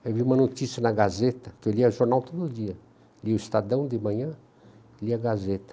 Aí eu vi uma notícia na Gazeta, que eu lia jornal todo dia, lia o Estadão de manhã, lia a Gazeta.